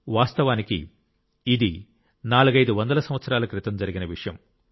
వాస్తవానికి ఇది నాలుగైదు వందల సంవత్సరాల క్రితం జరిగిన విషయం